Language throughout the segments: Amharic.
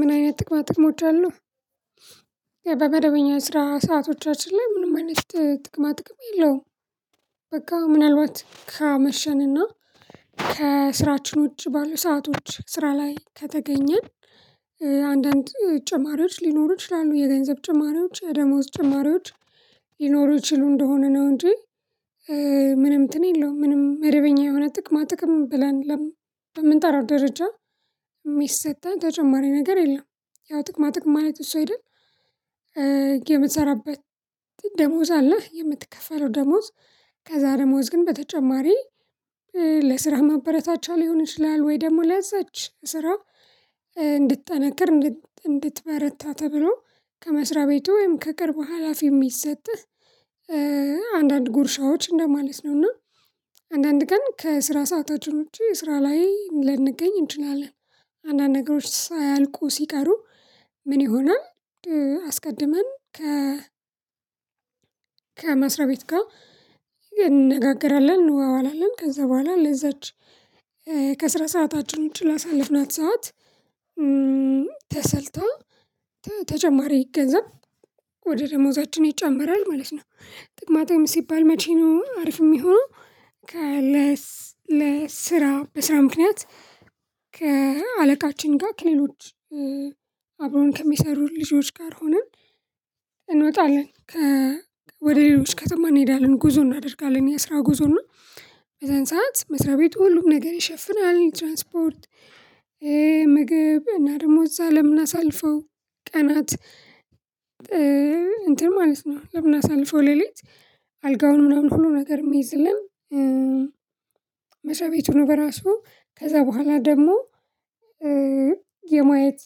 ምን አይነት ጥቅማ ጥቅሞች አሉ? በመደበኛ ስራ ሰአቶቻችን ላይ ምንም አይነት ጥቅማ ጥቅም የለውም። በቃ ምናልባት ከመሸንና ከስራችን ውጭ ባሉ ሰአቶች ስራ ላይ ከተገኘን። አንዳንድ ጨማሪዎች ሊኖሩ ይችላሉ የገንዘብ ጭማሪዎች የደሞዝ ጭማሪዎች ሊኖሩ ይችሉ እንደሆነ ነው እንጂ። ምንም እንትን የለውም ምንም መደበኛ የሆነ ጥቅማ ጥቅም ብለን ለምንጠራው ደረጃ የሚሰጠን ተጨማሪ ነገር የለም። ያው ጥቅማ ጥቅም ማለት እሱ አይደል? የምትሰራበት ደሞዝ አለህ የምትከፈለው ደሞዝ። ከዛ ደሞዝ ግን በተጨማሪ ለስራ ማበረታቻ ሊሆን ይችላል ወይ ደግሞ ለዛች ስራው። እንድትጠነክር እንድትበረታ ተብሎ ከመስሪያ ቤቱ ወይም ከቅርቡ ሀላፊ የሚሰጥህ። አንዳንድ ጉርሻዎች እንደማለት ነውና። አንዳንድ ቀን ከስራ ሰዓታችን ውጪ ስራ ላይ ልንገኝ እንችላለን። አንዳንድ ነገሮች ሳያልቁ ሲቀሩ ምን ይሆናል? አስቀድመን ከ ከመስሪያ ቤት ጋር። እንነጋገራለን እንዋዋላለን ከዛ በኋላ ለዛች ከስራ ሰዓታችን ውጪ ላሳለፍናት ሰዓት ተሰልተው ተጨማሪ እገዛ ወደ ደሞዛችን ይጨመራል ማለት ነው። ጥቅማ ጥቅም ሲባል መቼ ነው አሪፍ የሚሆነው? ከለስ ለስራ በስራ ምክንያት ከአለቃችን ጋር ከሌሎች አብሮን ከሚሰሩት ልጆች ጋር ሆነን እንወጣለን። ከ ወደ ሌሎች ከተማ እንሄዳለን ጉዞ እናደርጋለን የስራ ጉዞ ነው። በዛን ሰዓት መስሪያ ቤቱ ሁሉም ነገር ይሸፍናል ትራንስፖርት። ምግብ እና ደሞ እዛ አለምናሳልፈው ቀናት እንትን ማለት ነው። ለምን አሳልፎ ሌሊት አልጋውን ምናምን ሁሉ ነገር የሚይዝልን። መስሪያ ቤቱ ነው በራሱ ከዛ በኋላ ደግሞ የማየት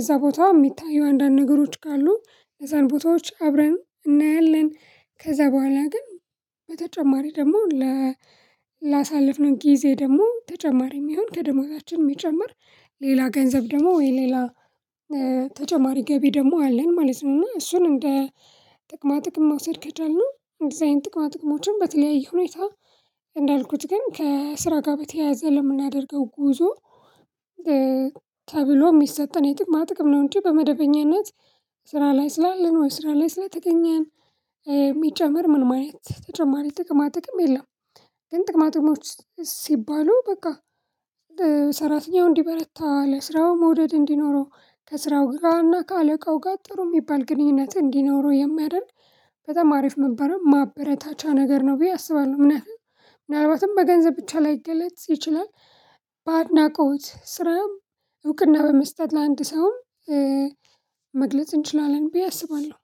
እዛ ቦታ የሚታየው አንዳንድ ነገሮች ካሉ ለዛን ቦታዎች አብረን እናያለን። ከዛ በኋላ ግን በተጨማሪ ደግሞ ላሳለፍነው ጊዜ ደግሞ ተጨማሪ የሚሆን ከደመወዛችን የሚጨምር ሌላ ገንዘብ ደግሞ ወይ ሌላ ተጨማሪ ገቢ ደግሞ አለን ማለት ነው። እና እሱን እንደ ጥቅማ ጥቅም ማውሰድ ከቻልን እንደዚህ አይነት ጥቅማ ጥቅሞችን በተለያየ ሁኔታ እንዳልኩት ግን ከስራ ጋር በተያያዘ ለምናደርገው ጉዞ ተብሎ የሚሰጠን የጥቅማ ጥቅም ነው። እንጂ በመደበኛነት ስራ ላይ ስላለን ወይ ስራ ላይ ስለተገኘን የሚጨመር ምን ማየት ተጨማሪ ጥቅማ ጥቅም የለም። ግን ጥቅማ ጥቅሞች ሲባሉ በቃ ሰራተኛው እንዲበረታ ለስራው መውደድ እንዲኖረው ከስራው ጋርና ከአለቃው ጋር ጥሩ የሚባል ግንኙነት እንዲኖረው የማያደርግ በጣም አሪፍ መበረታቻ ነገር ነው ብዬ አስባለሁ። እምነት ምናልባትም በገንዘብ ብቻ ላይገለጽ ይችላል። በአድናቆት ስራም እውቅና በመስጠት ለአንድ ሰው መግለጽ እንችላለን ብዬ አስባለሁ።